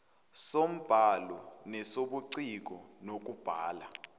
sombhalo nesobuciko bokubhala